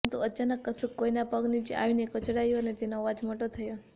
પરંતુ અચાનક કશુંક કોઈના પગ નીચે આવીને કચડાયું અને તેનો અવાજ મોટો થયો